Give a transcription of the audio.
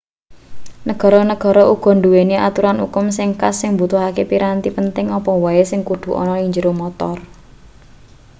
negara-negara uga nduweni aturan ukum sing khas sing mbutuhake piranti penting apa wae sing kudu ana ning njero montor